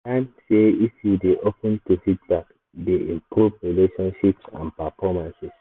i learn sey if you dey open to feedback e dey improve relationships and performances